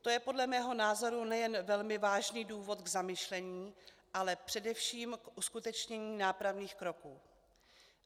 To je podle mého názoru nejen velmi vážný důvod k zamyšlení, ale především k uskutečnění nápravných kroků.